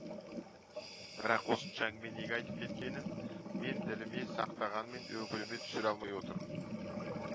бірақ осынша әңгімені неге айтып кеткенін мен діліме сақтағанмен өкіліме түсіре алмай отырдым